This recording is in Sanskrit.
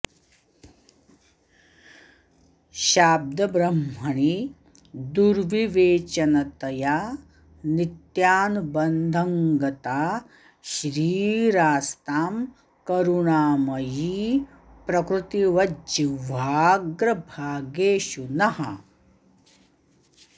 शाब्दब्रह्मणि दुर्विवेचनतया नित्यानुबन्धं गता श्रीरास्तां करुणामयी प्रकृतिवज्जिह्वाग्रभागेषु नः